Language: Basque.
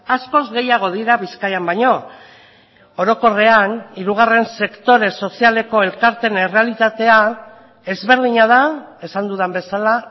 askoz gehiago dira bizkaian baino orokorrean hirugarren sektore sozialeko elkarteen errealitatea ezberdina da esan dudan bezala